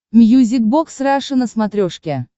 мьюзик бокс раша на смотрешке